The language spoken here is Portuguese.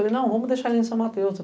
Falei, não, vamos deixar ele em São Mateus.